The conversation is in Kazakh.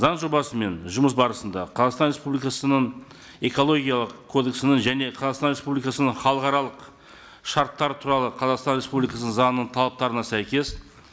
заң жобасымен жұмыс барысында қазақстан республикасының экологиялық кодексінің және қазақстан республикасының халықаралық шарттары туралы қазақстан республикасының заңының талаптарына сәйкес